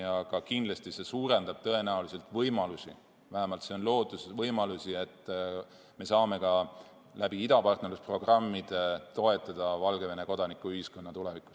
Aga see tõenäoliselt suurendab võimalusi – vähemalt see lootus on –, et me saame ka idapartnerlusprogrammide abil tulevikus Valgevene kodanikuühiskonda toetada.